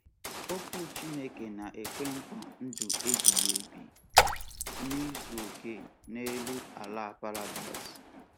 Okwu Chineke na-ekwe nkwa ndụ ebighị ebi n’izu okè n’elu ala paradaịs.